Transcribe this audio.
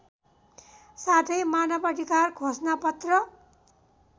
साथै मानवअधिकार घोषणापत्र